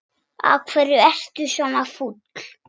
Af hverju ertu svona fúll?